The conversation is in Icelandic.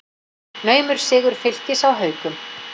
Naumur sigur Fylkis á Haukum